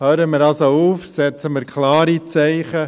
Hören wir also auf und setzen wir klare Zeichen.